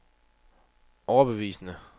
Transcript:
overbevisende